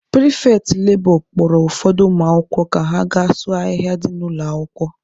Pịrịfetị lebọ kpọrọ ụfọdụ ụmụakwụkwọ ka ha gaa sụọ ahịhịa dị n'ụlọ akwụkwọ.